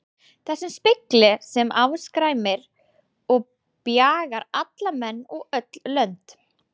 Þessum spegli sem afskræmir og bjagar alla menn og öll lönd.